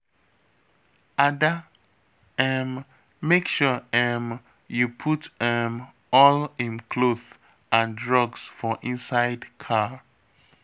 Ada um make sure um you put um all im cloth and drugs for inside car